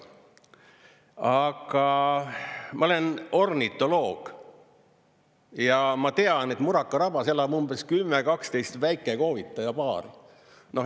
Aga ma olen ornitoloog ja ma tean, et Muraka rabas elab umbes 10– 12 väikekoovitaja paari.